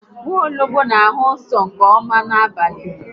Nwologbo n'ahụ uzọ nke ọma n'abalị